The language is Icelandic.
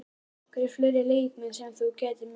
Eru einhverjir fleiri leikmenn sem þú gætir misst?